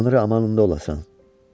Tanrı amanında olasan.